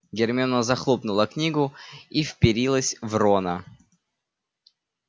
гермиона захлопнула книгу и вперилась в рона